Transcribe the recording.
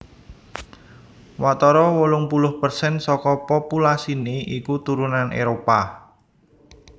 Watara wolung puluh persen saka populasiné iku turunan Éropah